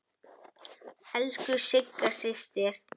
Elsku Sigga systir.